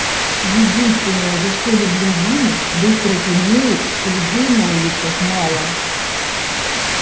единственное за что люблю зиму быстро темнеет и людей на улицах мало